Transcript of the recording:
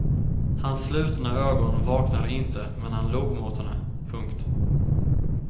Hans slutna ögon vaknade inte men han log mot henne. punkt